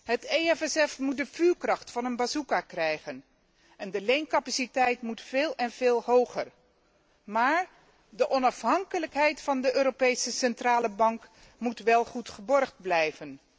Het EFSF moet de vuurkracht van een bazooka krijgen en de leencapaciteit moet veel en veel hoger, maar de onafhankelijkheid van de Europese Centrale Bank moet wel goed gewaarborgd blijven.